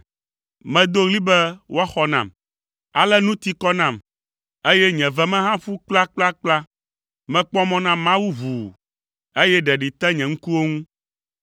Medo ɣli be woaxɔ nam, ale nu ti kɔ nam, eye nye ve me hã ƒu kplakplakpla. Mekpɔ mɔ na Mawu ʋuu, eye ɖeɖi te nye ŋkuwo ŋu.